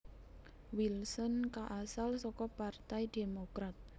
Wilson kaasal saka partai Demokrat